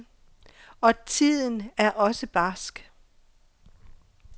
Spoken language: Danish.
Og tiden er også barsk.